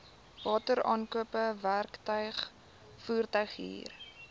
wateraankope werktuig voertuighuur